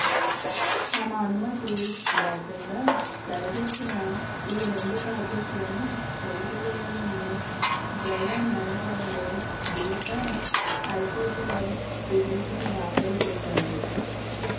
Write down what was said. తమ అనుమతి లేకుండా తెరకెక్కిన ఈ రెండు ప్రాజెక్టులను నిలిపేయాలని జయ మేనకోడలు దీప హైకోర్టులో పిటిషన్ దాఖలు చేశారు